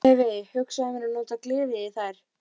Hefi hugsað mér að nota glerið í þær.